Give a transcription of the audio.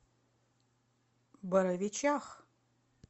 боровичах